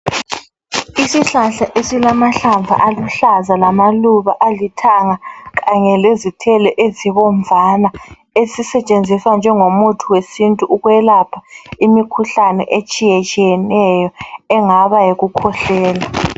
Isihlahla esilamahlamvu aluhlaza lamaluba alithanga kanye lezithelo ezibomvana esisetshenziswa njengomuthi wesintu ukwelapha imikhuhlane etshiyetshiyeneyo engaba yikukhwehlela